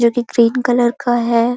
जो की green colour का है।